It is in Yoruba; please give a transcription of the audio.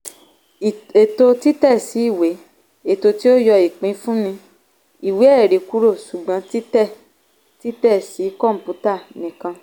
ètò títẹsí ìwé - ètò tí ó yọ ìpínfunni ìwé-ẹ̀rí kúrò ṣùgbọ́n títẹ títẹ sí kọ̀ǹpútà nìkan.